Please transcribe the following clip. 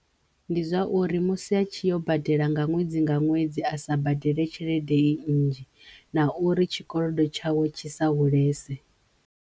Ndi zwa uri musi a tshi yo badela nga ṅwedzi nga ṅwedzi a sa badele tshelede i nnzhi na uri tshikolodo tshawe tshi sa hulese.